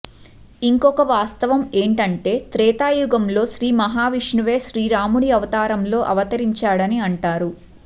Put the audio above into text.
ఇంకొక వాస్తవం ఏంటంటే త్రేతాయుగంలో శ్రీ మహావిష్ణువే శ్రీరాముడి అవతారంలో అవతరించాడని అంటారు